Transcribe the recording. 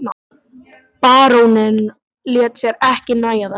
Baróninn lét sér ekki nægja þetta.